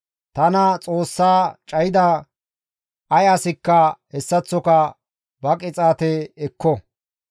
Tana Xoossaa cayida ay asikka hessaththoka ba qixaate ekko.